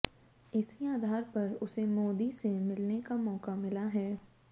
इसी आधार पर उसे मोदी से मिलने का मौका मिला है